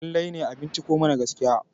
lallai ne a binciko mana gaskiya?